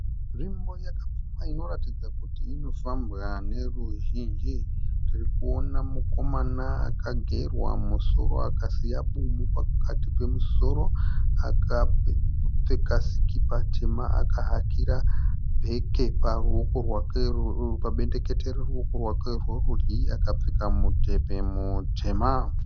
Nzvimbo yakapfumba inoratidza kuti inofambwa neruzhinji. Tiri kuona mukomana akagerwa musoro akasiya bumu pakati pemusoro. Akapfeka sikipa tema akahakira bheke pabendekete reruoko rwake rwerudyi akapfeka mudhebhe mutema.